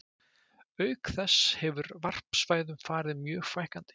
Auk þess hefur varpsvæðum farið mjög fækkandi.